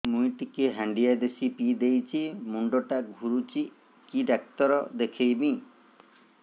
ମୁଇ ଟିକେ ହାଣ୍ଡିଆ ବେଶି ପିଇ ଦେଇଛି ମୁଣ୍ଡ ଟା ଘୁରୁଚି କି ଡାକ୍ତର ଦେଖେଇମି